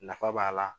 Nafa b'a la